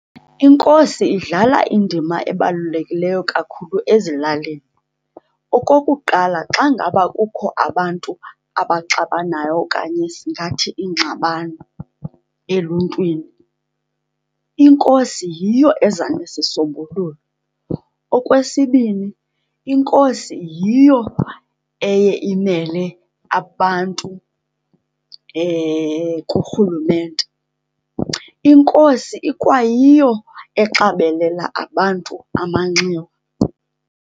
Inkosi idlala indima ebalulekileyo kakhulu ezilalini. Okokuqala, xa ngaba kukho abantu abaxabanayo okanye singathi iingxabano eluntwini, inkosi yiyo eza nesisombululo. Okwesibini, inkosi yiyo eye imele abantu kurhulumente. Inkosi ikwayiyo exabelela abantu amanxiwa.